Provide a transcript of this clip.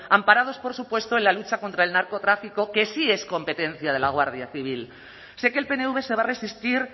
amparados por supuesto en la lucha contra el narcotráfico que sí es competencia de la guardia civil sé que el pnv se va a resistir